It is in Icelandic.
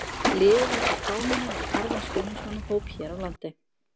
Liðið á sér fámennan en harðan stuðningsmannahóp hér á landi.